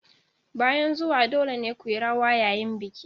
Bayan zuwan dole ne ku yi rawa yayin bikin.